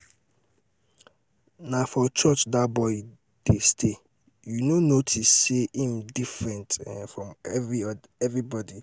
na um for church dat boy dey stay. you no um notice say say im different um from everybody?